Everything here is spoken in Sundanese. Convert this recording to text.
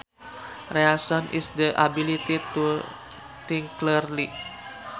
Reason is the ability to think clearly